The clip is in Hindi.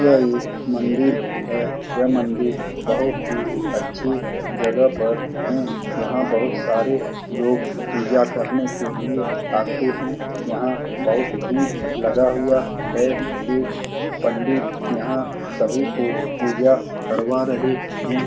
यह एक मंदिर है यह मंदिर बहुत ही अच्छी जगह पर है यहां बहुत सारे लोग पूजा करने के लिए आते हैं दुनिया बहुत भीड़ लगा हुआ है एक पंडित यहां सभी को पूजा करवा रहे है।